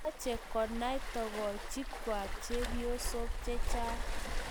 Mamache konai tokochik kwai chepyosok chechang